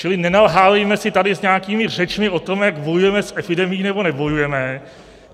Čili nenalhávejme si tady s nějakými řečmi o tom, jak bojujeme s epidemií nebo nebojujeme.